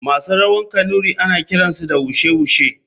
Masu rawa kanuri ana kiransu da wushe wushe.